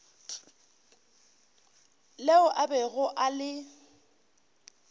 leo a bego a le